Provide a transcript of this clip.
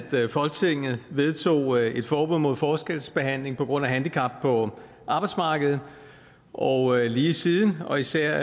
folketinget vedtog et forbud mod forskelsbehandling på grund af handicap på arbejdsmarkedet og lige siden og især